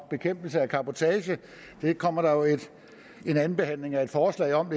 og bekæmpelse af cabotage der kommer jo en anden behandling af et forslag om